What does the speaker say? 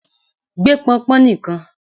gbé pọnpọn nìkan!